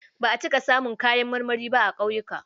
Ba a cika samun kayan marmari ba a ƙauyuka.